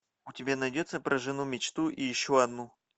у тебя найдется про жену мечту и еще одну